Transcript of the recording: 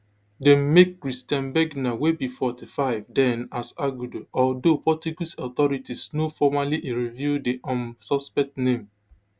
dem make christian bergner wey be forty-five den as arguido although portuguese authorities no formally reveal di um suspect name